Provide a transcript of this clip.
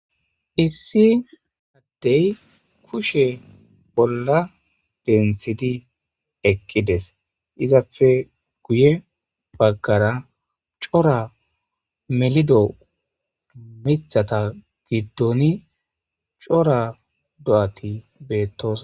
issi addey kushe bolla denthidi eqqides izapfe guye baggara cora melido mithata giddoni cora do7ati beettos